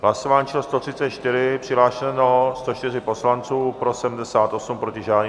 Hlasování číslo 134, přihlášeno 104 poslanců, pro 78, proti žádný.